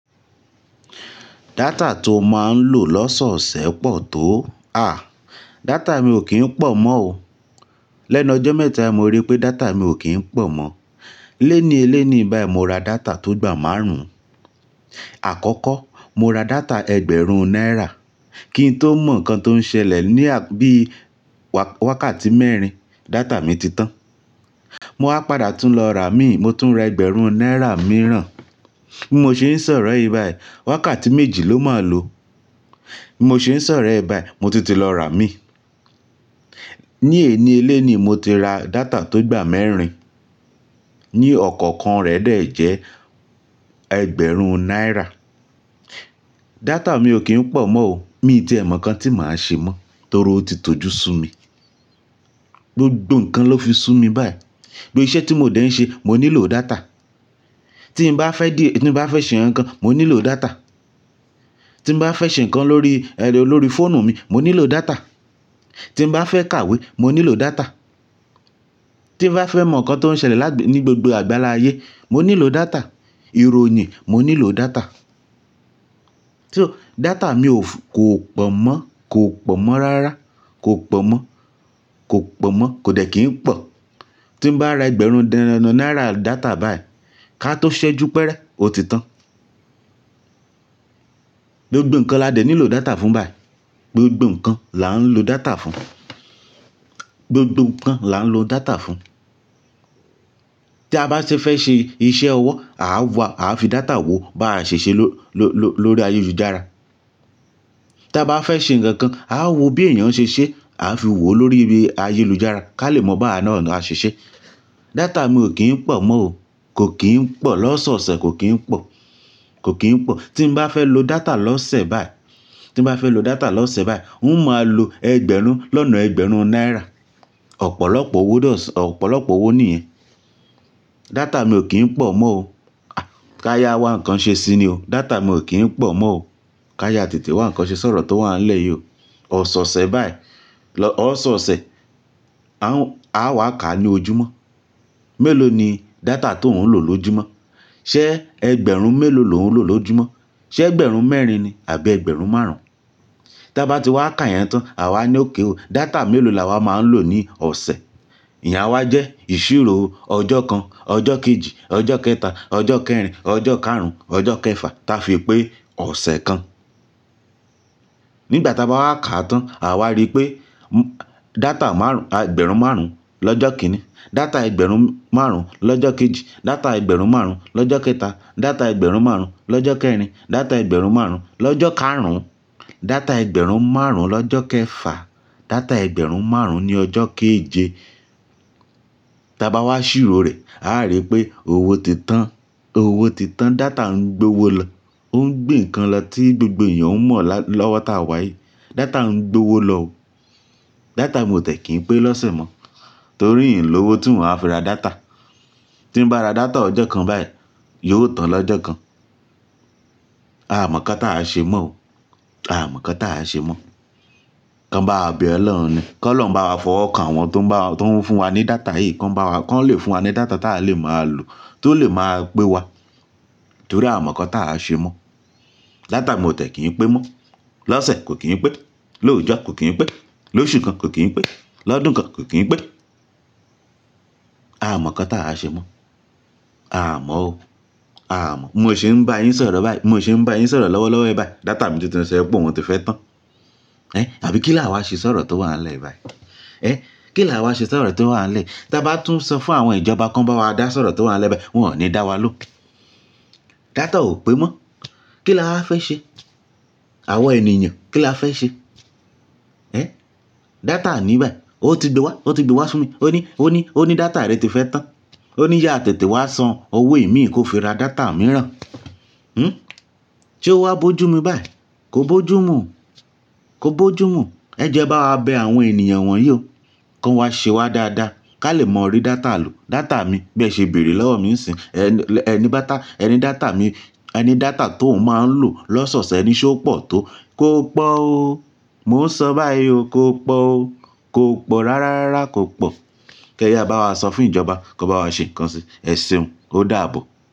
Data tó máa ń lò lọ́sọ̀ọ̀sẹ̀ pọ̀ tó. À, data mi ò kí ń pọ̀ mọ́ o. Lẹ́nu ọjọ́ mẹ́ta'i mo rí pé data mi ò kí ń pọ̀ mọ́. Léniélé ni bá yii mo ra data tó igbà márùn-ún. Àkọ́kọ́ mo ra data ẹgbẹ̀rún náírà kí n tó mọ ǹkan tó ń ṣẹlẹ̀ ní bíi wákàtí mẹ́rin data mi ti tán. Mo wá padà tún lọ rà mí, mo tún ra ẹgbẹ̀rún náírà mìíràn. Bí mo ṣe ń sọ̀rọ̀ yìí báyìí, wákàtí méjì ló máa lò. Bí mo ṣe ń sọ̀rọ̀ yìí báyìí, mo tun ti lọ rà mí. Ní èníelénii mo ti ra data tó igbà mẹ́rin ní ọ̀kọ̀ọ̀kan rẹ̀ dẹ̀ jẹ́ ẹgbẹ̀rún náírà. Data mi ò kí ń pọ̀ mọ́ o. Mii tíe mọ ǹkan tí màá ṣe mọ́ torí ó ti tọ́jú sú mi. Gbogbo ǹkan ló fi sú mi báyìí. Gbogbo iṣẹ́ tí mo dẹ̀ ń ṣe, mo nílò data. Tí n bá fẹ́ dé, tí n bá fẹ́ ṣe ǹkankan, mo nílò data. Tí n bá fẹ́ ṣe ǹkan lórí, ẹ́ lórí fóònù mi, mo nílò data. Tí n bá fẹ́ kàwé, mo nílò data. Tí n bá fẹ́ mọ ǹkan tó ń ṣẹlẹ̀ lágb-- ní gbogbo àgbáláyé, mo nílò data. Ìròyìn mo nílò data. So data mi ò f-- kò pọ̀ mọ́, kò pọ̀ mọ́ rárá, kò pọ̀ mọ́, kò pọ̀ mọ́, kò dẹ̀ kí ń pọ̀. Tí n bá ra ẹgbẹ̀rún naírà data báyìí, ká tó ṣẹ́jú pẹ́rẹ́, ó ti tán. Gbogbo ǹkan la dẹ̀ nílò data fún báyìí. Gbogbo ǹkan là ń lo data fún. Gbogbo ǹkan là ń lo data fún. Tí a bá ṣe fẹ́ ṣe iṣẹ́ ọwọ́, àá wá, àá fi data wò bá a ṣèṣe ló-ló-ló lórí ayélujára. Tí a bá fẹ́ ṣe ǹkan kan, àá wo bí èèyàn ṣe ṣé, àá fi wò lórí ibi ayélujára ká lè mọ báwa náà á ṣeṣé. Data mi ò kí ń pọ̀ mọ́ o. Kò kí ń pọ̀, lọ́sọ̀ọ̀sẹ̀ kò kí ń pọ̀, kò kí ń pọ̀. Tí n bá fẹ́ lo data lọ́sẹ̀ báyìí, tí n bá fẹ́ lo data lọ́sẹ̀ báyìí, n ó máa lo ẹgbẹ̀rún lọ́nà ẹgbẹ̀rún náírà. Ọ̀pọ̀lọpọ̀ owó dọ́, ọ̀pọ̀lọpọ̀ owó nìyẹn. Data mi ò kí ń pọ̀ mọ́ o. Ká yá wá ǹkan ṣe síi ni o. Data mi ò kí ń pọ̀ mọ́ o. Ká yá tètè wá ǹkan ṣe sọ̀rọ̀ tó wàá ń lẹ̀ yìí o. Ọ̀sọ̀ọ̀sẹ̀ báyìí, lọ́-- ọ̀sọ̀ọ̀sẹ̀ a ń, a wá kà ní ojúmọ́. Mélòó ni data tó ń lò lójúmọ́? Ṣé ẹgbẹ̀rún mélòó lò ń lò lójúmọ́? Ṣé ẹgbẹ̀rún mẹ́rin ni àbí ẹgbẹ̀rún márùn-ún? Tí a bá ti wá kà yẹn tán, à wa ní okay o. Data mélòó làwa máa ń lò ní ọ̀sẹ̀. Ìyen á wá jẹ́ ìṣírò ọjọ́ kan, ọjọ́ kejì, ọjọ́ kẹta, ọjọ́ kẹrin, ọjọ́ káàrún, ọjọ́ kẹfà, tá fi pé ọ̀sẹ̀ kan. Nígbà tí a bá wá kà á tán, à wa rí pé m-- data márùn-ún, ẹgbẹ̀rún márùn-ún lọ́jọ́ kíni, data ẹgbẹ̀rún márùn-ún lọ́jọ́ kejì, data ẹgbẹ̀rún márùn-ún lọ́jọ́ kẹta, data ẹgbẹ̀rún márùn-ún lọ́jọ́ kẹrin, data ẹgbẹ̀rún márùn-ún lọ́jọ́ káàrún, data ẹgbẹ̀rún márùn-ún lọ́jọ́ kẹfà, data ẹgbẹ̀rún márùn-ún ní ọjọ́ keje. Tí a bá wá ṣìró rẹ̀, áa rí pé owó ti tán. Owó ti tán, data ń gbé owó lọ. Ó ń gbé ǹkan lọ tí gbogbo èèyàn mọ̀ lọ́wọ́ tí a wá yìí. Data ń gbé owó lọ o. Data mi ò tiẹ̀ kí n pé lọ́sẹ̀ mọ́ torí ìn lówó tí màá fi ra data. Tí n bá ra data ọjọ́ kan báyìí, yóò tán lọ́jọ́ kan. A mọ̀ nkán tí àá ṣe mọ́ o. A mọ̀ kán tí à á ṣe mọ́. Kan bá wa bẹ Ọlọ́run ni. Kọ́ Ọlọ́run bá wa fọwọ́ kan àwọn tó ń bá wa, tó ń fún wa ní data yìí. Kan bá wa, kán lè fún wa ní data tí a lè máa lò tó lè máa pé wa torí a o mọ̀ nkán tí àá ṣe mọ́. Data mi ò tẹ̀ kí n pé mọ́. Lọ́sẹ̀ kò kí n pẹ́, lóòjọ́ kò kí n pẹ́, lóṣù kan kò kí n pẹ́, lọ́dún kan kò kí n pẹ́. A mọ̀ kán tí à á ṣe mọ́. A mọ̀ o. Aà mọ̀. Bí mo ṣe ń bá yín sọ̀rọ̀ báyìí, bí mo ṣe ń bá yín sọ̀rọ̀ lọ́wọ́lọ́wọ́ yìí bá yii, data mi tún tin ṣo pe ọ̀un ti fẹ́ tán. Ẹ́hn àbí kílàáwá ṣe sọ̀rọ̀ tó wàá ń lẹ̀ yìí bá yii? Ẹ́hn kílàáwá ṣe sọ̀rọ̀ tó wàá ń lẹ̀? Tí a bá tún sọ fún àwọn ìjọba kan bá wa dá sọ̀rọ̀ tó wàá ń lẹ̀ bá yii, wọ́n ò ní dá wa lóùn Data ò pé mọ́. Kílawá fẹ́ ṣe? Àwọn ènìyàn kíla fẹ́ ṣe? Ẹ́hn? Data ni báyìí, o ti gbe wá, ó ti gbe wá fún mi. Ó ní, ó ní, ó ní data rẹ ti fẹ́ tán. Ó ní yáa tètè wá san owó ìmí kò fi ra data mìíràn. Hmm? Sé ó wá bójú mu báyìí? Kò bójú mu. Kò bojú mú. Ẹ jòó e bá wa bẹ àwọn ènìyàn wòn yìí o. Kọ́n wá ṣe wá dáadáa. Ká lè móo rí data lò. Data mi, bí ẹ ṣe bèrè lọ́wọ́ mi ń'sin Ẹ̀ ní báta, ẹni data mi, ẹni data t'oun máa ń lò lọ́sọ̀ọ̀sẹ̀, e ni se ó pọ̀ tó. Kò pọ̀ o. Mo ń sọ báyìí o. Kò pọ̀ o. Kò pọ̀ rárárárá, kò pọ̀. Kẹ́yà bá wá sọ fún ìjọba kán bá wá ṣe ǹkan ṣi. Ẹseun, ó dààbò.